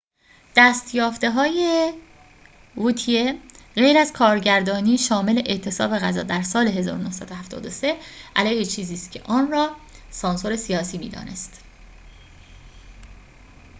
دست‌یافته‌های ووتیه غیر از کارگردانی شامل اعتصاب غذا در سال ۱۹۷۳ علیه چیزی است که آن را سانسور سیاسی می‌دانست